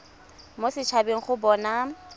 mo set habeng go bona